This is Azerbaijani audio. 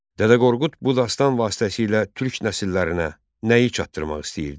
Dədə Qorqud bu dastan vasitəsilə türk nəsillərinə nəyi çatdırmaq istəyirdi?